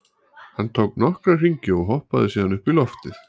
Hann tók nokkra hringi og hoppaði síðan upp í loftið.